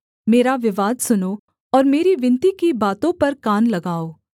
मेरा विवाद सुनो और मेरी विनती की बातों पर कान लगाओ